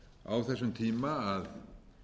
á þessum tíma að